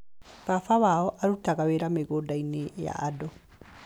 Baba wao arutaga wĩra mĩgũnda-inĩ ya andũ.